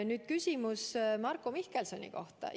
Nüüd küsimus Marko Mihkelsoni kohta.